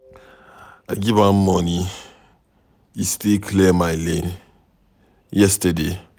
I give am money e stay clear my lane yesterday.